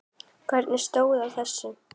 Hvernig stóð á þessu?